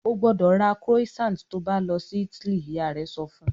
"Ó gbọ́dọ̀ ra croissant to bá lọ sí Italy!" Ìyá rẹ sọ fun